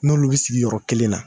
N'olu bɛ sigi yɔrɔ kelen na.